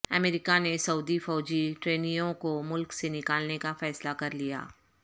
امریکہ نے سعودی فوجی ٹرینیوں کو ملک سے نکالنے کا فیصلہ کرلیا